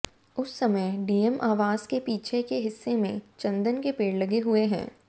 उस समय डीएम आवास के पीछे के हिस्से में चंदन के पेड़ लगे हुए हैं